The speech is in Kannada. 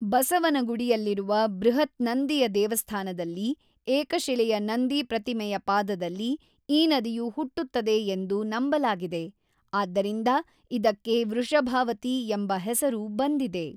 ಬಸವನಗುಡಿಯಲ್ಲಿರುವ ಬೃಹತ್ ನಂದಿಯ ದೇವಸ್ಥಾನದಲ್ಲಿ ಏಕಶಿಲೆಯ ನಂದಿ ಪ್ರತಿಮೆಯ ಪಾದದಲ್ಲಿ ಈ ನದಿಯು ಹುಟ್ಟುತ್ತದೆ ಎಂದು ನಂಬಲಾಗಿದೆ, ಆದ್ದರಿಂದ ಇದಕ್ಕೆ ವೃಷಭಾವತಿ ಎಂಬ ಹೆಸರು ಬಂದಿದೆ.